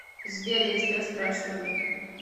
сбер я тебя спрашиваю